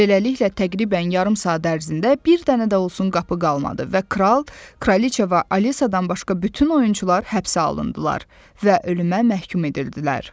Beləliklə, təqribən yarım saat ərzində bir dənə də olsun qapı qalmadı və Kral, Kraliçea və Alisadan başqa bütün oyunçular həbsə alındılar və ölümə məhkum edildilər.